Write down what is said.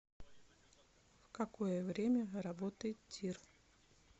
в какое время работает тир